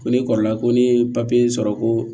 Ko ne kɔrɔkɛ ko ne ye papiye sɔrɔ ko